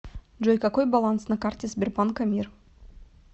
джой какой баланс на карте сбербанка мир